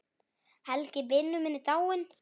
Helgi vinur minn er dáinn.